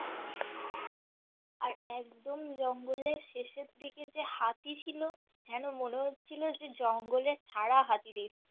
আর একদম জঙ্গলের শেষের দিকে যে হাতিটা ছিল যেন মনে হচ্ছিল যে জঙ্গলের ছাড়া হাতি দেখছি